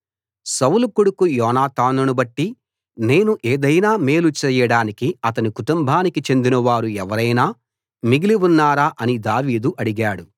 సౌలు కొడుకు యోనాతానును బట్టి నేను ఏదైనా మేలు చేయడానికి అతని కుటుంబానికి చెందినవారు ఎవరైనా మిగిలి ఉన్నారా అని దావీదు అడిగాడు